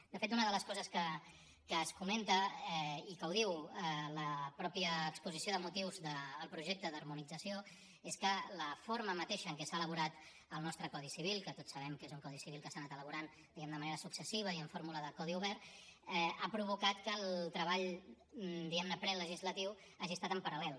de fet una de les coses que es comenta i que diu la mateixa exposició de motius del projecte d’harmonització és que la forma mateixa amb què s’ha elaborat el nostre codi civil que tots sabem que és un codi civil que s’ha anat elaborant de manera successiva i amb fórmula de codi obert ha provocat que el treball prelegislatiu hagi estat en paral·lel